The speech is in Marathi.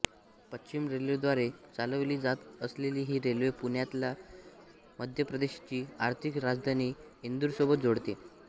पश्चिम रेल्वेद्वारे चालवली जात असलेली ही रेल्वे पुण्यालाला मध्य प्रदेशची आर्थिक राजधानी इंदूरसोबत जोडते